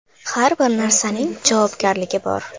Har bir narsaning javobgarligi bor.